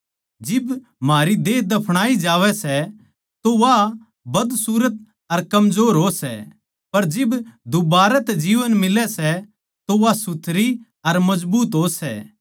जिब म्हारी देह दफणाई जावै सै तो वा बदसूरत अर कमजोर हो सै पर जिब दुबारतै जीवन मिलै सै तो वा सुथरी अर मजबूत हो सै